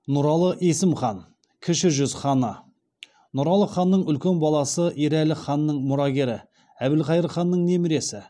нұралыұлы есім хан кіші жүз ханы нұралы ханның үлкен баласы ерәлі ханның мұрагері әбілқайыр ханның немересі